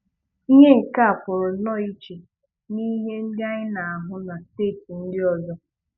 Ihe nke a pụrụ nnọọ iche n'ihe ndị anyị na-ahụ na steeti ndị ọzọ.